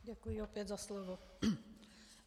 Děkuji opět za slovo.